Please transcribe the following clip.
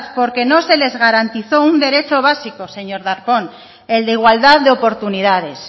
porque no se les garantizó un derecho básico señor darpón el de igualdad de oportunidades